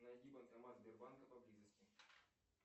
найди банкомат сбербанка поблизости